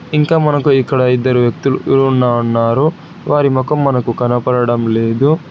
ఇంకా మనకు ఇక్కడ ఇద్దరు వ్యక్తులు ఉన్నారు. వారి మొఖం మనకు కనబడడం లేదు.